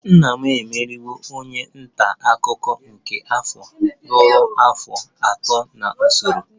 Papa m emeriwo onye nta akụkọ nke afọ ruo afọ atọ n'usoro